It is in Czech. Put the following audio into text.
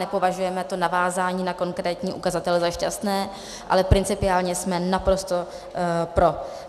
Nepovažujeme to navázání na konkrétní ukazatele za šťastné, ale principiálně jsme naprosto pro.